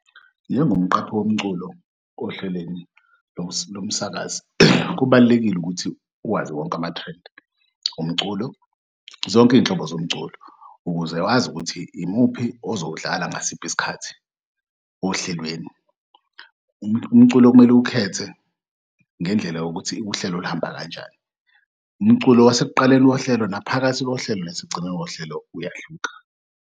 Njengomqaphi womculo ohlelweni lomsakazi kubalulekile ukuthi uwazi wonke ama-trend omculo zonk'iy'nhlobo zomculo ukuze wazi ukuthi imuphi ozowudlala ngasiphi isikhathi ohlelweni. Umculo okumele uwukhethe ngendlela yokuthi uhlelo luhamba kanjani, umculo wasekuqaleni kohlelo naphakathi kohlelo nasekugcinneni kohlelo uyahluka.